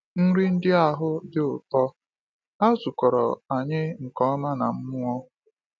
Nri ndị ahụ “dị ụtọ”—ha zụkọrọ anyị nke ọma na mmụọ.